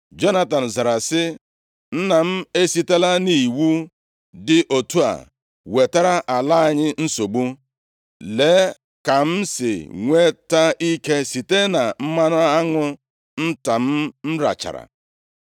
Jonatan zara sị, “Nna m esitela nʼiwu dị otu a wetara ala anyị nsogbu. Lee ka m si nweta ike site na mmanụ aṅụ nta m rachara.